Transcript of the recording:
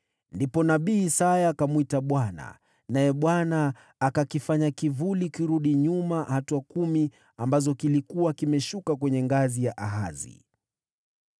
Ndipo nabii Isaya akamwita Bwana , naye Bwana akakifanya kivuli kurudi nyuma hatua kumi ambazo kilikuwa kimeshuka kwenye ngazi ya Ahazi.